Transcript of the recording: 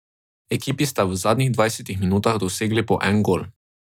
Ekipi sta v zadnjih dvajsetih minutah dosegli po en gol.